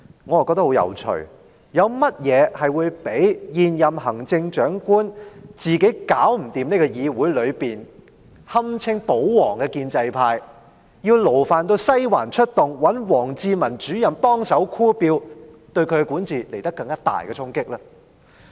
我覺得很有趣，有甚麼較現任行政長官自己無法處理議會內堪稱"保皇"的建制派，要勞煩"西環"出動及找王志民主任幫忙拉票這做法對她的管治造成更大的衝擊呢？